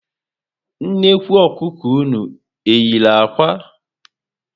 Nnekwu Ọkụkọ ụnụ eyiri ákwà?